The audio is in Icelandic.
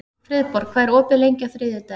Friðborg, hvað er opið lengi á þriðjudaginn?